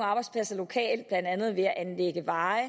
arbejdspladser lokalt blandt andet ved at anlægge veje